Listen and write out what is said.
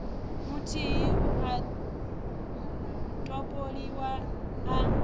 muthihi u a topoliwa a